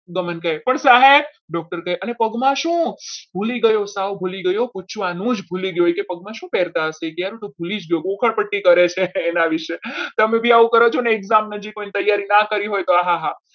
પણ ગમન કહે સાહેબ doctor કહે પગમાં શું ભૂલી ગયો સાવ ભૂલી ગયો. કહેવાનું જ ભૂલી ગયો. પગમાં શું પહેરતા હતા એના વિશે તમે પણ આવું કરો છો ને એકદમ નજીક હોય ને તૈયારી ના કરી હોય તો